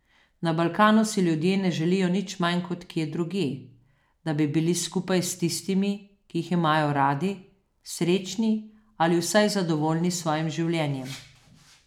Na Balkanu si ljudje ne želijo nič manj kot kje drugje, da bi bili skupaj s tistimi, ki jih imajo radi, srečni ali vsaj zadovoljni s svojim življenjem.